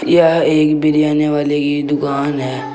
यह एक बिरयानी वाले की दुकान है।